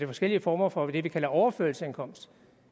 forskellige former for det vi kalder overførselsindkomst